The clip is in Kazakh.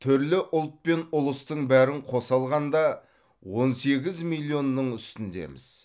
түрлі ұлт пен ұлыстың бәрін қоса алғанда он сегіз миллионның үстіндеміз